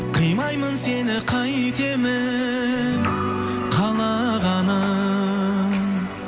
қимаймын сені қайтемін қалағаным